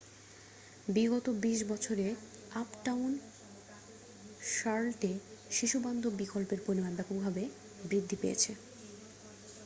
বিগত 20 বছরে আপটাউন শার্লটে শিশুবান্ধব বিকল্পের পরিমাণ ব্যাপকভাবে বৃদ্ধি পেয়েছে